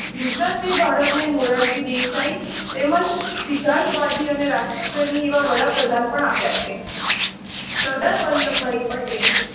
ગુજરાતને ભારતને મોરારજી દેસાઈ તેમજ સિદ્ધાર્થવાદી અને રાષ્ટ્રપ્રેમી એવા વડાપ્રધાન પણ આપ્યા છે. સરદાર વલલભભાઈ પટેલ